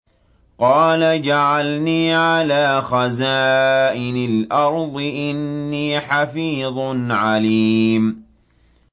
قَالَ اجْعَلْنِي عَلَىٰ خَزَائِنِ الْأَرْضِ ۖ إِنِّي حَفِيظٌ عَلِيمٌ